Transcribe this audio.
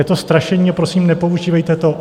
Je to strašení, prosím, nepoužívejte to.